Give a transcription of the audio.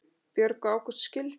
Björg og Ágúst skildu.